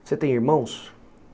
Você tem irmãos?